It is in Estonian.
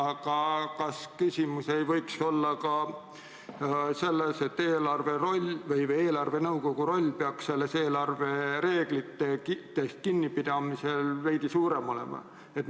Aga kas küsimus ei või olla ka selles, et eelarvenõukogu roll peaks eelarvereeglitest kinnipidamisel veidi suurem olema?